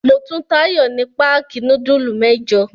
Mo tun Táyọ̀ ní páákì núdúlù mẹ́jọ.